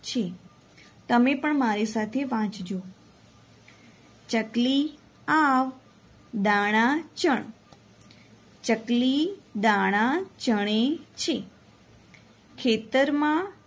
છે તમે પણ મારી સાથે વાંચજો ચકલી આવ દાણા ચણ ચકલી દાણા ચણે છે ખેતરમાં